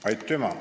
Aitüma!